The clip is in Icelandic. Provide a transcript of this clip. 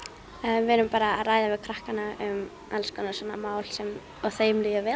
við erum að ræða við krakkana um alls konar mál og þeim líði vel